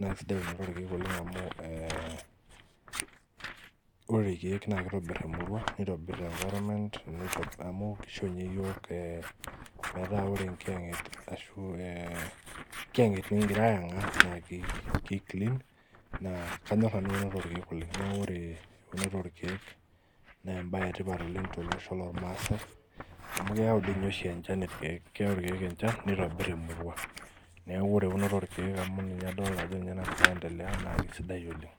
naa kisidai eunoto orkeek oleng amu eh ore irkeek naa kitobirr emurua nitobirr environment amu kisho inye iyiok eh metaa ore enkiyang'et ashu eh enkiyang'et nikingira ayang'aa naa kei ki clean naa kanyorr nanu eunoto orkeek oleng nieku ore eunoto orkeek nembaye etipat oleng tolosho lormaasae amu keyau dii ninye oshi enchan irkeek keyau irkeek enchan nitobirr emurua neeku ore eunoto orkeek amu ninye adolta ajo ninye nagira aendelea naa kisidai oleng.